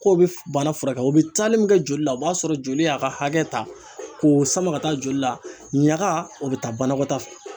K'o bɛ bana furakɛ o bɛ taali min kɛ joli la o b'a sɔrɔ joli y'a ka hakɛ ta k'o sama ka taa joli la ɲaga o bɛ taa banakɔtaa fɛ.